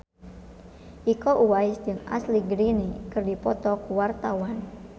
Iko Uwais jeung Ashley Greene keur dipoto ku wartawan